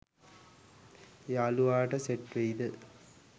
යලුවාට set වෙයිද